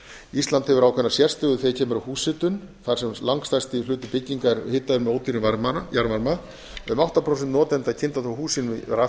ísland hefur ákveðna sérstöðu þegar kemur að húshitun þar sem langstærsti hluti bygginga er hitaður með ódýrum jarðvarma um átta prósent notenda kynda þó hús sín með